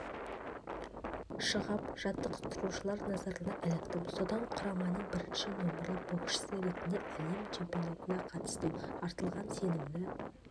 шығып жаттықтырушылар назарына іліктім содан құраманың бірінші нөмірлі боксшысы ретінде әлем чемпионатына қатыстым артылған сенімді